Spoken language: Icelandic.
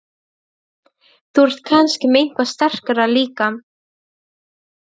Þú ert kannski með eitthvað sterkara líka?